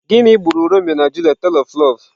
Gịnị gburu Romeo na romantic tale of love?